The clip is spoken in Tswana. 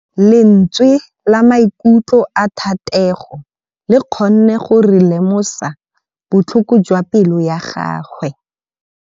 Lentswe la maikutlo a Thategô le kgonne gore re lemosa botlhoko jwa pelô ya gagwe.